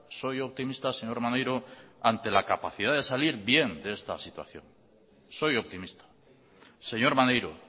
soy optimista señor maneiro ante la capacidad de salir bien de esta situación soy optimista señor maneiro